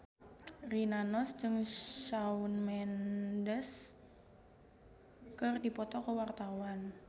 Rina Nose jeung Shawn Mendes keur dipoto ku wartawan